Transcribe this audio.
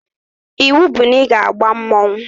Iwu bụ na ị ga-aba mmanwụ